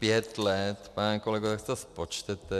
Pět let, pane kolego, tak si to spočtěte.